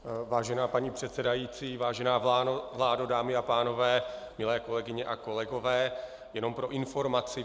Vážená paní předsedající, vážená vládo, dámy a pánové, milé kolegyně a kolegové, jen pro informaci.